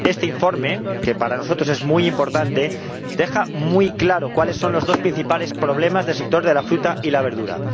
Este informe, que para nosotros es muy importante, deja muy claro cuáles son los dos principales problemas del sector de la fruta y la verdura.